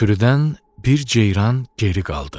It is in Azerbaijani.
Sürüdən bir ceyran geri qaldı.